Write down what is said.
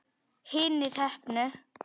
Hinir heppnu?